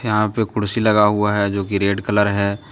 यहां पे कुर्सी लगा हुआ है जो की रेड कलर है।